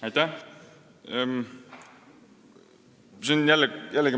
Aitäh!